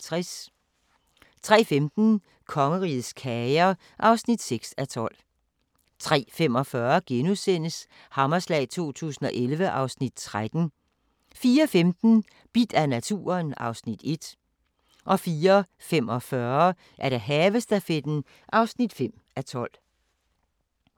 03:15: Kongerigets kager (6:12) 03:45: Hammerslag 2011 (Afs. 13)* 04:15: Bidt af naturen (Afs. 1) 04:45: Havestafetten (5:12)